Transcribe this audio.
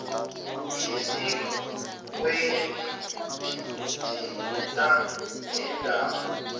isikweli lithinta neendaba